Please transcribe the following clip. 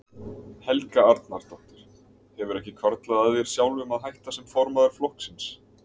Helga Arnardóttir: Hefur ekki hvarflað að þér sjálfum að hætta sem formaður flokksins?